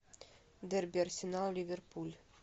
дерби арсенал ливерпуль